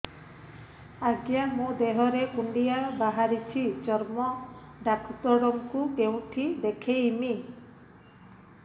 ଆଜ୍ଞା ମୋ ଦେହ ରେ କୁଣ୍ଡିଆ ବାହାରିଛି ଚର୍ମ ଡାକ୍ତର ଙ୍କୁ କେଉଁଠି ଦେଖେଇମି